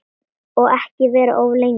Og ekki vera of lengi.